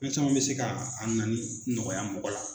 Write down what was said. Fɛn caman bɛ se ka nani nɔgɔya mɔgɔ la.